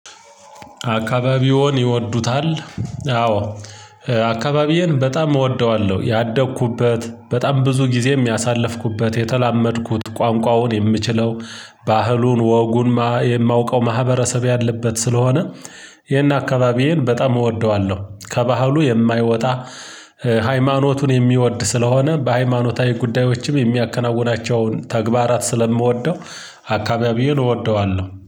አካባቢውን ይወዱታል? አዎ አካባቢዬን በጣም እወደዋለሁ ያደግኩበት በጣም ብዙ ጊዜ የሚያሳልፍኩበት የተላመድኩት ቋንቋውን የምችለው ባህሉን ወጉን የማውቀው ማህበረሰብ ያለበት ስለሆነ። ይሄን አካባቢዬን በጣም እወደዋለሁ። ከባህሉ የማይወጣ ሃይማኖቱን የሚወድ ስለሆነ በሃይማኖታዊ ጉዳዮችም የሚያከናውናቸውን ተግባራት ስለምወደው። አካባቢዬን እወደዋለሁ